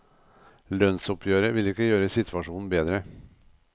Lønnsoppgjøret vil ikke gjøre situasjonen bedre.